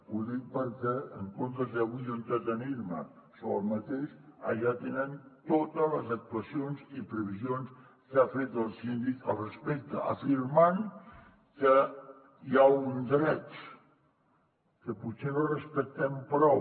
ho dic perquè en comptes d’avui jo entretenir me sobre aquest allà tenen totes les actuacions i previsions que ha fet el síndic al respecte afirmant que hi ha un dret que potser no respectem prou